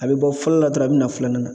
A bɛ bɔ fɔlɔ la dɔrɔn a bɛ na filanan na.